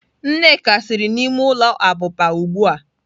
Nneka siri n'ime ulo abuba ugbua.